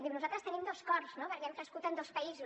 diu nosaltres tenim dos cors no perquè hem crescut en dos països